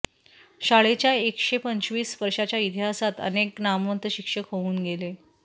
शाळेच्या एकशेपंचवीस वर्षांच्या इतिहासात अनेक नामवंत शिक्षक होऊन गेले